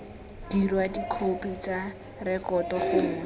dirwa dikhopi tsa rekoto gongwe